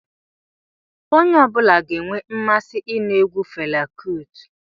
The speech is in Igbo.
Onye ọbula ga-enwe mmasị inu egwu Fela Kuti